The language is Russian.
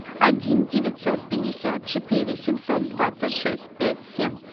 один девятьсот пятьдесят четыре семьсот двадцать шесть пять семь